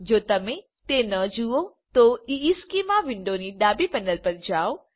જો તમે તે ન જુઓ તો ઇશ્ચેમાં વિન્ડોની ડાબી પેનલ પર જાઓ